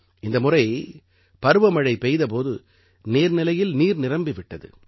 இந்த முறை பருவமழை பெய்த போது நீர்நிலையில் நீர் நிரம்பி விட்டது